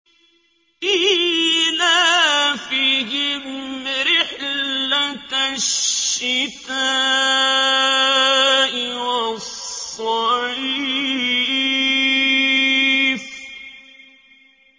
إِيلَافِهِمْ رِحْلَةَ الشِّتَاءِ وَالصَّيْفِ